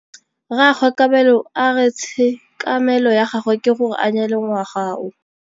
Rragwe Kabelo a re tshekamêlô ya gagwe ke gore a nyale ngwaga o.